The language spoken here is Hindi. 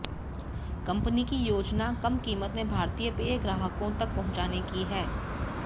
कंपनी की योजना कम कीमत में भारतीय पेय ग्राहकों तक पहुंचाने की है